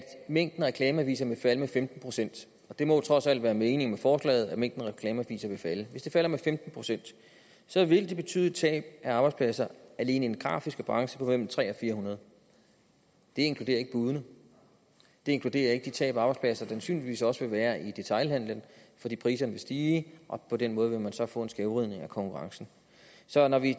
mængden af reklameaviser vil falde med femten procent og det må jo trods alt være meningen med forslaget at mængden af reklameaviser vil falde ser vi at det vil betyde et tab af arbejdspladser alene i den grafiske branche på mellem tre hundrede og fire hundrede det inkluderer ikke budene det inkluderer ikke de tab af arbejdspladser der sandsynligvis også vil være i detailhandelen fordi priserne vil stige og på den måde vil man så få en skævvridning af konkurrencen så når vi